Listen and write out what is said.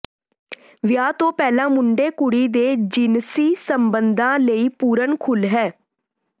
ਵਿਆਹ ਤੋਂ ਪਹਿਲਾਂ ਮੁੰਡੇ ਕੁੜੀ ਦੇ ਜਿਨਸੀ ਸੰਬੰਧਾਂ ਲਈ ਪੂਰਨ ਖੁਲ੍ਹ ਹੈ